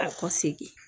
A ka segin